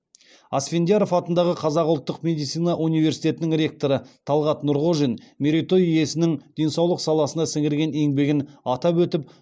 асфендияров атындағы қазақ ұлттық медицина университетінің ректоры талғат нұрғожин мерей той иесінің денсаулық саласына сіңірген еңбегін атап өтіп